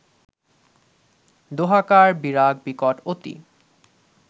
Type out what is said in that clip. দোঁহাকার বিরাগ বিকট অতি